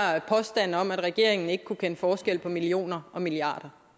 påstanden om at regeringen ikke kunne kende forskel på millioner og milliarder